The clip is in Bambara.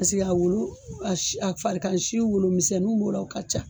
Paseke a wolo a si a farikansi wolo misɛnninw b'o la o ka ca